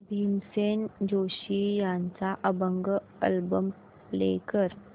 भीमसेन जोशी यांचा अभंग album play कर